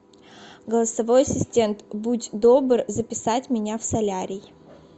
голосовой ассистент будь добр записать меня в солярий